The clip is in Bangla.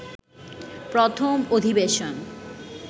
প্রথম অধিবেশন